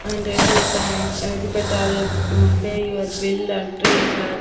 And Airtel thanks అనేసి పేటతరౌ. Um pay your bill and recharge .